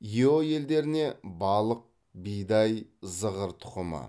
ео елдеріне балық бидай зығыр тұқымы